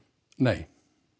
nei